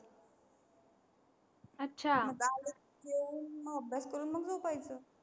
जेवून मग अभ्यास करून मग झोपायचं.